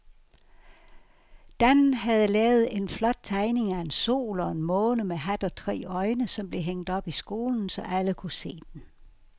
Dan havde lavet en flot tegning af en sol og en måne med hat og tre øjne, som blev hængt op i skolen, så alle kunne se den.